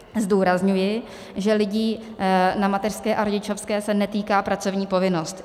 Zdůrazňuji, že lidí na mateřské a rodičovské se netýká pracovní povinnost.